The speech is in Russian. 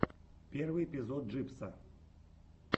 первый эпизод джибса